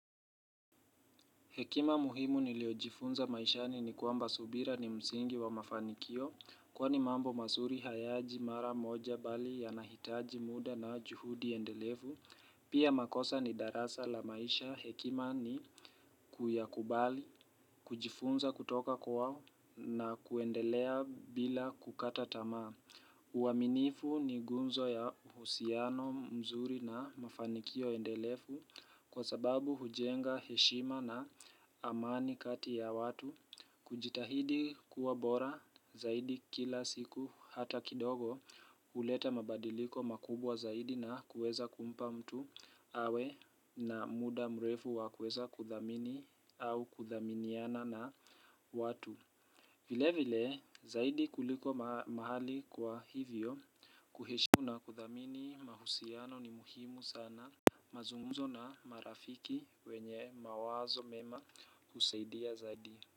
Hekima muhimu niliojifunza maishani ni kwamba subira ni msingi wa mafanikio. Kwani mambo masuri hayaji mara moja bali yanahitaji muda na juhudi endelevu. Pia makosa ni darasa la maisha hekima ni kuyakubali, kujifunza kutoka kwa na kuendelea bila kukata tamaa. Uwaminifu ni gunzo ya husiano mzuri na mafanikio endelefu kwa sababu hujenga heshima na amani kati ya watu. Kujitahidi kuwa bora zaidi kila siku hata kidogo uleta mabadiliko makubwa zaidi na kueza kumpa mtu awe na muda mrefu wa kueza kuthamini au kuthaminiana na watu. Vile vile zaidi kuliko mahali kwa hivyo kuheshiu na kudhamini mahusiano ni muhimu sana. Mazungumzo na marafiki wenye mawazo mema kusaidia zaidi.